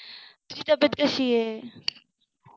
तुझी तब्येत कशी आहे.